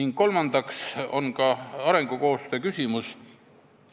Neljandaks on arengukoostöö küsimus.